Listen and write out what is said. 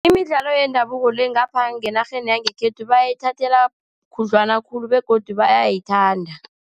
Imidlalo yendabuko le ngapha ngenarheni yangekhethu, bayithathela khudlwana khulu begodu bayayithanda.